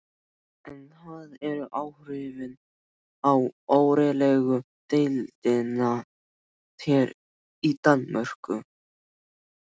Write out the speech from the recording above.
En það eru áhrifin á órólegu deildina hér í Danmörku.